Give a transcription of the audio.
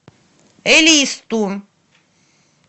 элисту